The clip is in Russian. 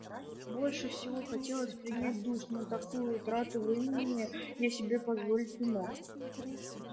больше всего хотелось принять душ но такую трату времени я себе позволить не мог